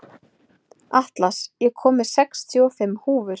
Atlas, ég kom með sextíu og fimm húfur!